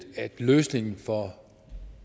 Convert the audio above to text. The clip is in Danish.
at løsningen for